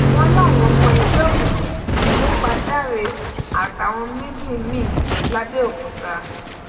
wọn láwọn ọmọ ẹgbẹ òkùnkùn ló pa dáre àtàwọn méjì míì lábẹòkúta